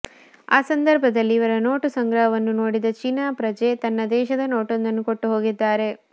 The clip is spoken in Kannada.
ಆ ಸಂದರ್ಭದಲ್ಲಿ ಇವರ ನೋಟು ಸಂಗ್ರಹವನ್ನು ನೋಡಿದ ಚೀನಾ ಪ್ರಜೆ ತನ್ನ ದೇಶದ ನೋಟೊಂದನ್ನು ಕೊಟ್ಟು ಹೋಗಿದ್ದಾರೆ